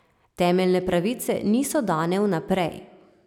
Temeljne pravice niso dane vnaprej.